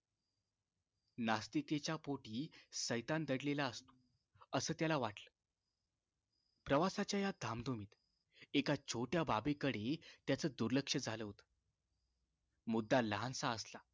नास्तिकेच्या पोटी सैतान दडलेला असतो असं त्याला वाटलं प्रवासाच्या या धामधुमीत एका छोट्या बाबीकडे त्याच दुर्लक्ष झालं होतं मुद्दा लहानसा असला